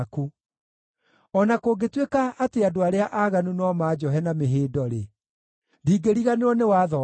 O na kũngĩtuĩka atĩ andũ arĩa aaganu no manjohe na mĩhĩndo-rĩ, ndingĩriganĩrwo nĩ watho waku.